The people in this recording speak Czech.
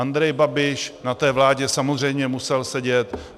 Andrej Babiš na té vládě samozřejmě musel sedět.